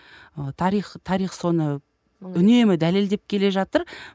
ы тарих тарих соны үнемі дәлелдеп келе жатыр